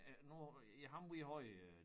Øh nu ja ham vi havde øh